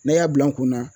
N'a y'a bila n kunna